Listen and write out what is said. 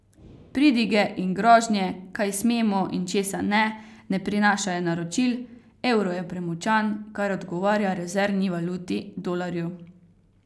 Pridige in grožnje, kaj smemo in česa ne, ne prinašajo naročil, evro je premočan, kar odgovarja rezervni valuti, dolarju.